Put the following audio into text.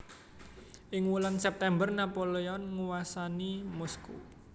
Ing wulan September Napoleon nguwasani Moskow